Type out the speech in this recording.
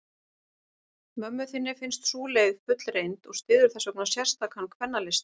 Mömmu þinni finnst sú leið fullreynd, og styður þessvegna sérstakan kvennalista.